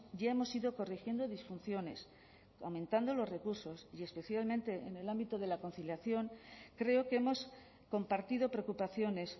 ya hemos ido corrigiendo disfunciones aumentando los recursos y especialmente en el ámbito de la conciliación creo que hemos compartido preocupaciones